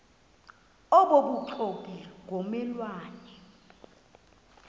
obubuxoki ngomme lwane